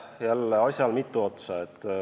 Jälle, asjal on mitu külge.